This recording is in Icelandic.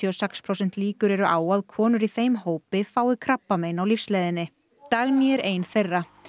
og sex prósent líkur eru á að konur í þeim hópi fái krabbamein á lífsleiðinni Dagný er ein þeirra